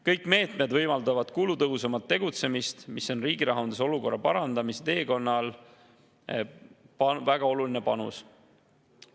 Kõik meetmed võimaldavad kulutõhusamat tegutsemist, mis on riigi rahanduse olukorra parandamise teekonnal väga oluline panus.